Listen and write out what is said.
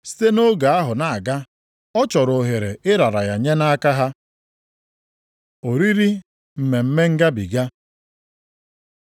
Site nʼoge ahụ na-aga, ọ chọrọ ohere ịrara ya nye nʼaka ha. Oriri Mmemme Ngabiga